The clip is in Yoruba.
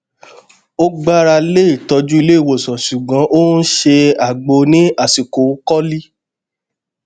ó gbára lé ìtọjú ilé ìwòsàn ṣùgbọn ó n ṣe àgbo ní àsìkò kọlí